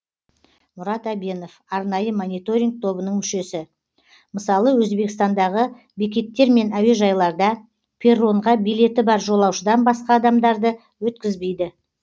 мұрат әбенов арнайы мониторинг тобының мүшесі мысалы өзбекстандағы бекеттер мен әуежайларда перронға билеті бар жолаушыдан басқа адамдарды өткізбейді